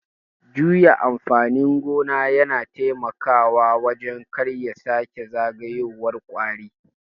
Juya amfanin gona yana taimakawa wajen karya sake zagayowar kwari.